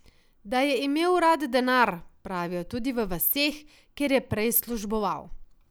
Da je imel rad denar, pravijo tudi v vaseh, kjer je prej služboval.